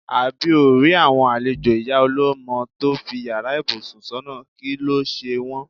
Àbí óò rí àwo̩n àlejò ìyá o̩ló̩mo̩ tó fi yàrá ìbùsùn s̩ò̩nà, kí ló s̩e wó̩n.